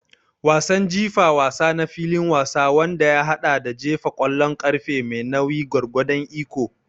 Wasan jifa wasa na filin wasa wanda ya haɗa da jefa ƙwallon ƙarfe mai nauyi gwargwadon iko.